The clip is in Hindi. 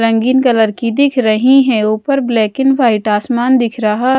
रंगीन कलर की दिख रही हैं ऊपर ब्लैक एंड व्हाईट आसमान दिख रहा--